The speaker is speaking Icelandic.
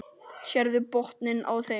Sérðu botninn á þeim.